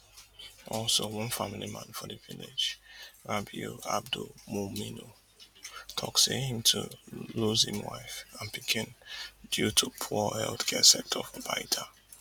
also one family man for di village rabiu abdulmuminu tok say im too lose im wife and pikin due to poor healthcare sector for baita